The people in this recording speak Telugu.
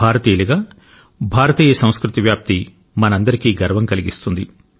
భారతీయులుగా భారతీయ సంస్కృతి వ్యాప్తి మనందరికీ గర్వం కలిగిస్తుంది